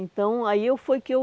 Então, aí eu foi que eu...